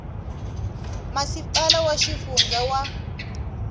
masipala wa xifundza na wa